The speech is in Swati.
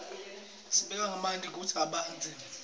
sibeka manti kutsi abandze